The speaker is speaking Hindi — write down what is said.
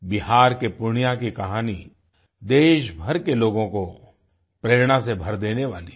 बिहार के पूर्णिया की कहानी देशभर के लोगों को प्रेरणा से भर देने वाली है